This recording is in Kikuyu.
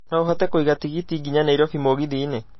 no ũhote kũiga tigiti nginya nairobi mũgithi-inĩ